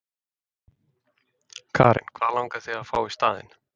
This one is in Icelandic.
Karen: Hvað langar þig að fá í staðinn?